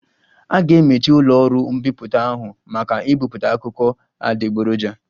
A ga-emechi ụlọ ọrụ mbipụta ahụ maka ibipụta akụkọ adịgboroja